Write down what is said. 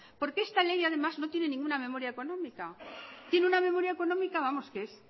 porque esta ley además no tiene ninguna memoria económica tiene una memoria económica vamos que es